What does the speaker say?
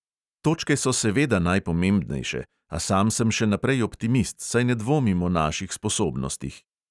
Točke so seveda najpomembnejše, a sam sem še naprej optimist, saj ne dvomim o naših sposobnostih.